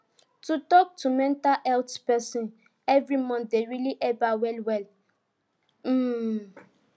to talk to mental health person every month dey really help her wellwell um